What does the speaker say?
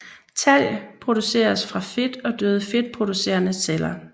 Talg produceres fra fedt og døde fedtproducerende celler